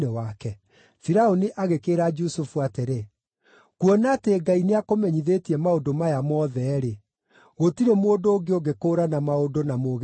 Firaũni agĩkĩĩra Jusufu atĩrĩ, “Kuona atĩ Ngai nĩakũmenyithĩtie maũndũ maya mothe-rĩ, gũtirĩ mũndũ ũngĩ ũngĩkũũrana maũndũ na mũũgĩ ta we.